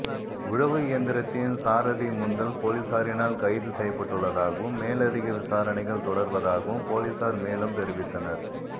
உழவு இயந்திரத்தின் சாரதி முந்தல் பொலிஸாரினால் கைது செய்யப்பட்டுள்ளதாகவும் மேலதிக விசாரனைகள் தொடர்வதாகவும் பொலிஸார் மேலும் தெரிவித்தனர்